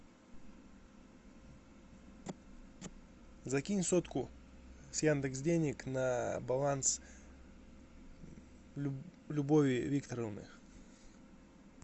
закинь сотку с яндекс денег на баланс любови викторовны